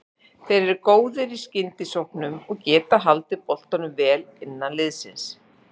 Þeir eru góðir í skyndisóknum og getað haldið boltanum vel innan liðsins.